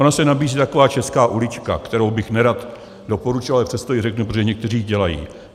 Ona se nabízí taková česká ulička, kterou bych nerad doporučoval, ale přesto ji řeknu, protože někteří ji dělají.